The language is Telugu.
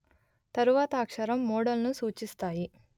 తరువాత అక్షరం మోడల్ ను సూచిస్తాయి